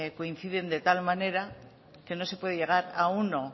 coinciden de tal manera que no se puede llegar a uno